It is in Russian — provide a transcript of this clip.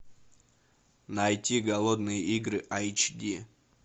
найти голодные игры айч ди